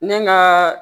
Ne ŋaa